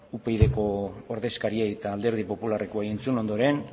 upydko ordezkariari eta alderdi popularreko entzun ondoren